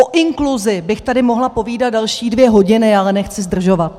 O inkluzi bych tady mohla povídat další dvě hodiny, ale nechci zdržovat.